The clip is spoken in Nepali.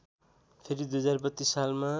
फेरि २०३२ सालमा